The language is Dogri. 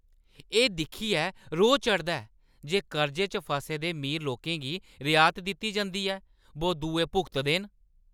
एह् दिक्खियै रोह् चढ़दा ऐ जे कर्जे च फसे दे मीर लोकें गी रिऐत दित्ती जंदी ऐ बो दुए भुगतदे न।